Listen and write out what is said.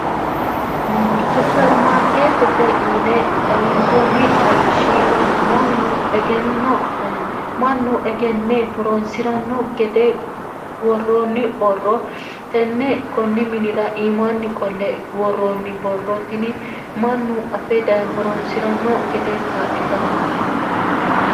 supermaarkeettete yine xawinsoonni xawishshi mannu egenne horonsi'ranno gede gworroonni borro tenne konni minira iimaanni qolle gworroonni borrootini mannu afeda horonsi'ranno gede kaadhitannote